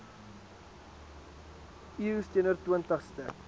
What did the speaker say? eeus teenoor twintigste